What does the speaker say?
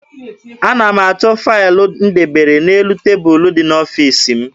Ana m achọ faịlụ m debere n'elu tebulu dị n'ọfiisi m.